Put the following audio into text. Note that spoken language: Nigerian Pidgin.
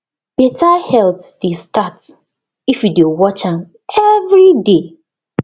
better health dey start if you dey watch am every day